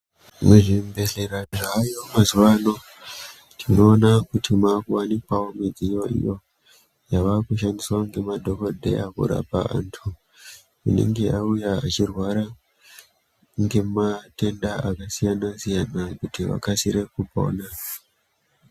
Muzvibhehlera zvaayo mazuwano tinoona kuti mwavakuwanikwawo midziyo iyo yavakushandiswa ngemadhokodheya kurapa antu anenge auya achirwara ngematenda akasiyana-siyana kuti vakasire kupona.